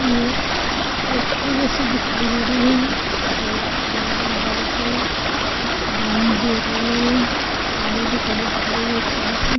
जैसी दिखाई दे रही है गेट लगा है बड़ा सा एक बाउंड्री दिख रही है गाड़ी भी खड़ी दिख रही है थोडीसी।